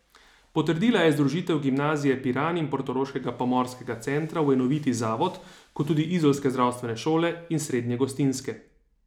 Potrdila je združitev Gimnazije Piran in portoroškega pomorskega centra v enoviti zavod, kot tudi izolske zdravstvene šole in srednje gostinske.